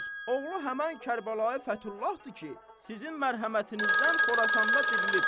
Oğlu həmən Kərbəlayı Fəthullahdır ki, sizin mərhəmətinizdən Xorasanda dirilib.